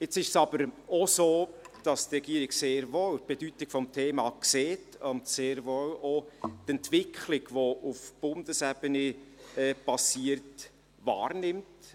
Jetzt ist es aber auch so, dass die Regierung die Bedeutung des Themas sehr wohl sieht und auch die Entwicklung, die auf Bundesebene geschieht, sehr wohl wahrnimmt.